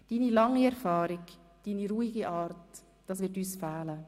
Deine lange Erfahrung, deine ruhige Art, das alles wird uns fehlen.